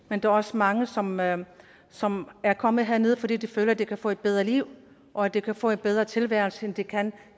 men der er også mange som er som er kommet herned fordi de føler at de kan få et bedre liv og at de kan få en bedre tilværelse end de kan